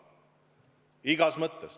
Igas mõttes.